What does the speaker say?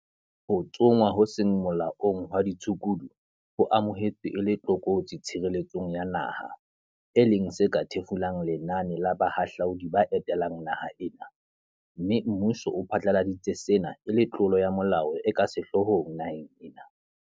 Ho tsongwa ho seng molaong hwa ditshukudu ho amohetswe e le tlokotsi tshireletsong ya naha, e leng se ka thefulang lenane la" bahahlaudi ba etelang naha ena, mme mmuso o phatlaladitse sena e le tlolo ya molao e ka sehloohong naheng ena.